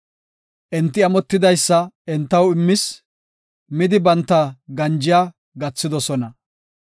Enti amotidaysa entaw immis; midi banta ganjiya gathidosona.